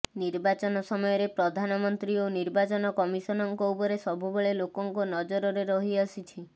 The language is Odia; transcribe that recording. ନିର୍ବାଚନ ସମୟରେ ପ୍ରଧାନମନ୍ତ୍ରୀ ଓ ନିର୍ବାଚନ କମିସନଙ୍କ ଉପରେ ସବୁବେଳେ ଲୋକଙ୍କ ନଜରରେ ରହିଆସିଛି